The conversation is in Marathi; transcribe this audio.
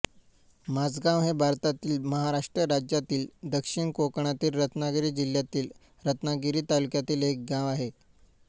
माजगाव हे भारतातील महाराष्ट्र राज्यातील दक्षिण कोकणातील रत्नागिरी जिल्ह्यातील रत्नागिरी तालुक्यातील एक गाव आहे